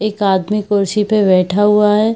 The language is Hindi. एक आदमी कुर्सी पे बैठा हुआ है।